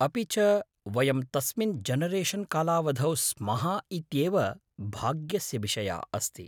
अपि च वयं तस्मिन् जनरेशन् कालावधौ स्मः इत्येव भाग्यस्य विषयः अस्ति।